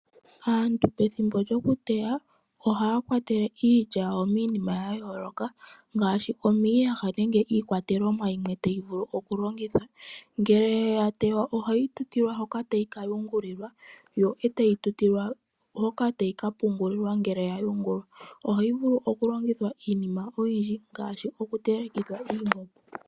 Aantu pethimbo lyokuteya, ohaya kwatele iilya yawo miinima ya yooloka ngaashi omiiyaha nenge iikwatelomwa yimwe tayi vulu okulongithwa. Ngele ya tewa ohayi tutilwa hoka tayi ka yungulilwa, yo etayi tutilwa hoka tayi ka pungulilwa ngele ya yungulwa. Ohayi vulu okolongithwa iinima oyindji ngaashi okutelekithwa iimbombo.